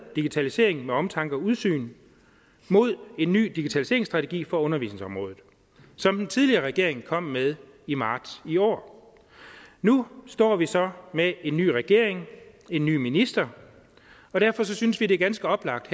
digitalisering med omtanke og udsyn mod en ny digitaliseringsstrategi for undervisningsområdet og som den tidligere regering kom med i marts i år nu står vi så med en ny regering en ny minister og derfor synes vi det er ganske oplagt